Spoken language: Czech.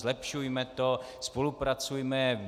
Zlepšujme to. Spolupracujme.